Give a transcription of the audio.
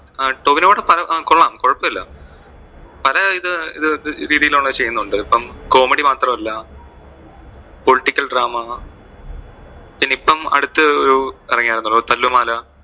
ടോവിനോയുടെ പടം ആ കൊള്ളാം കുഴപ്പില്ല, പല ഇത് ആ രീതിയിൽ ഉള്ളത് ചെയുന്നുണ്ട് ഇപ്പൊ. Comedy മാത്രം അല്ല. Political drama പിന്നെ ഇപ്പൊ അടുത്ത് ഒരു ഇറങ്ങിയാർന്നല്ലോ, തല്ലുമാല